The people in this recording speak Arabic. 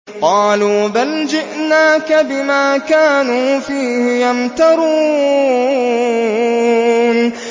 قَالُوا بَلْ جِئْنَاكَ بِمَا كَانُوا فِيهِ يَمْتَرُونَ